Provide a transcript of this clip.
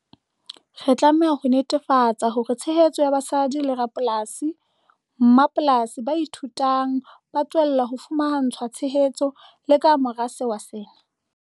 Re tlameha ho netefatsa hore tshehetso ya basadi le rapolasi-mmapolasi ba ithuthuhang ba tswella ho fumantshwa tshehetso le ka mora sewa sena.